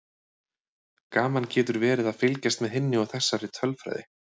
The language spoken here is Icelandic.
Gaman getur verið að fylgjast með hinni og þessari tölfræði.